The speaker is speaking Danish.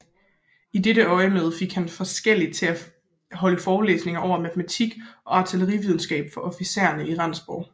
I dette øjemed fik han forskellige til at holde forelæsninger over matematik og artillerividenskab for officererne i Rendsborg